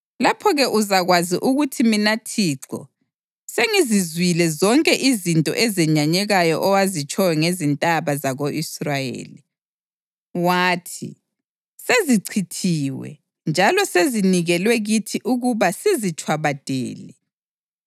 Lapho-ke uzakwazi ukuthi mina Thixo sengizizwile zonke izinto ezenyanyekayo owazitshoyo ngezintaba zako-Israyeli. Wathi, “Sezichithiwe njalo sezinikelwe kithi ukuba sizitshwabadele.”